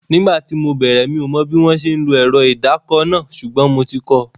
Nígbà tí mo bẹ̀rẹ̀, mi ò mọ bí wọ́n ṣe ń lo ẹ̀rọ ìdàkọ náà, ṣùgbọ́n mo ti kọ